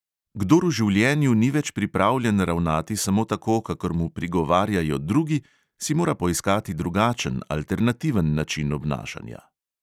Kdor v življenju ni več pripravljen ravnati samo tako, kakor mu prigovarjajo drugi, si mora poiskati drugačen, alternativen način obnašanja.